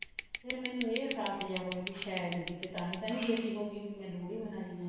ਫ਼ੇਰ ਮੈਨੂੰ ਇਹ ਇਹਸਾਸ ਜਾ ਹੋਇਆ ਕੇ ਸ਼ਾਇਦ ਕਿਤੇ ਤਾਂਹੀ ਤਾਂ ਨੀ ਬੇਟੀ ਹੋਗੀ ਵੀ ਮੈਂ ਲੋਹੜੀ ਮਨਾਈ ਹੈ